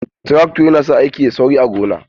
Trakto yana sa aiki yayi sauri a gona.